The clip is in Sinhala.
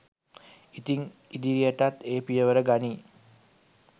ඉතින් ඉදිරියටත් ඒ පියවර ගනියි